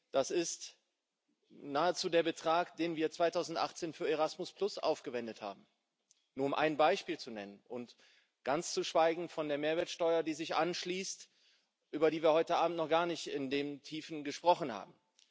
Das ist nahezu der Betrag, den wir 2018 für Erasmus aufgewendet haben um nur ein Beispiel zu nennen ganz zu schweigen von der Mehrwertsteuer, die sich anschließt, über die wir heute Abend noch gar nicht in den Tiefen gesprochen haben.